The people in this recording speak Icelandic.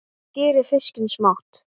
Skerið fiskinn smátt.